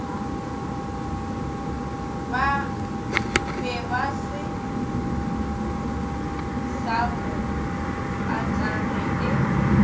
bebase sa bo patage e